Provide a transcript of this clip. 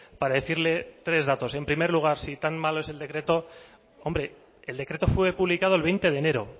para decirle tres datos en primer lugar si tan malo es el decreto hombre el decreto fue publicado el veinte de enero